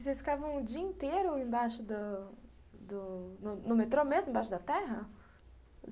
E vocês ficavam o dia inteiro embaixo do do no metrô mesmo, embaixo da terra?